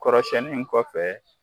Kɔrɔ siyɛnni in kɔfɛ.